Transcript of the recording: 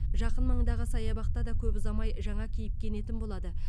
жақын маңдағы саябақта да көп ұзамай жаңа кейіпке енетін болады